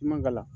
I man ka la